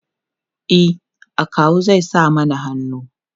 e akawu zai sa mana hannu